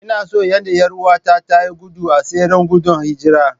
Ina son yadda 'yar'uwata ta yi gudu a tseren gudun hijira.